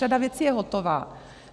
Řada věcí je hotová.